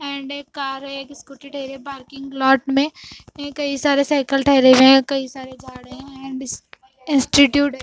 Hyundai car है एक Scooty type है पार्किंग लॉट में यहाँ कई सारे साईकल ठहरे हुए हैं कई सारे झाड़ियाँ हैं इंस्टिट्यूट हैं।